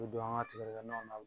U bɛ don an ka tigɛdɛgɛnaw la